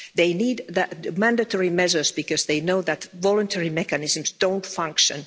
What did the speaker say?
They need mandatory measures because they know that voluntary mechanisms don't function.